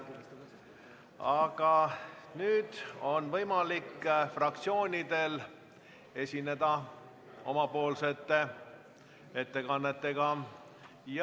Aga nüüd on võimalik fraktsioonidel esineda ettekannetega.